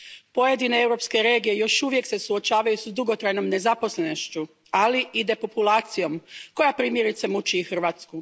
Pojedine europske regije još uvijek se suočavaju s dugotrajnom nezaposlenošću, ali i depopulacijom, koja primjerice muči i Hrvatsku.